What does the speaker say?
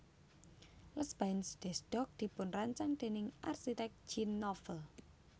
Les Bains des Docks dipunrancang déning arsitek Jean Nouvel